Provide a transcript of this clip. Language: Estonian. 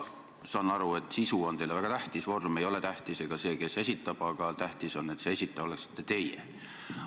Ma saan aru, et sisu on teile väga tähtis, vorm ei ole tähtis ega see, kes esitab, aga tähtis on, et see esitaja oleksite teie.